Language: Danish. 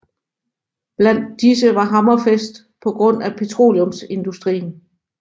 Blandt disse var Hammerfest på grund af petroleumsindustrien